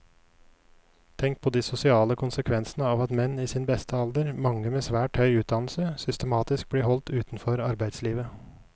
Tenk på de sosiale konsekvensene av at menn i sin beste alder, mange med svært høy utdannelse, systematisk blir holdt utenfor arbeidslivet.